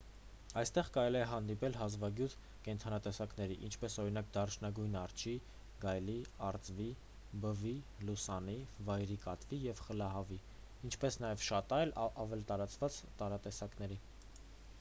այնտեղ կարելի է հանդիպել հազվագյուտ կենդանատեսակների ինչպես օրինակ դարչնագույն արջի գայլի արծվի բվի լուսանի վայրի կատվի և խլահավի ինչպես նաև շատ այլ ավելի տարածված տարատեսակների